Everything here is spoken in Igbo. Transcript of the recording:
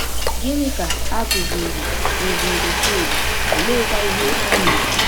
Gịnị ka a kụziiri kụziiri Chidi, oleekwa ihe o mere?